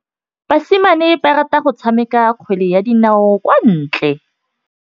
Basimane ba rata go tshameka kgwele ya dinaô kwa ntle.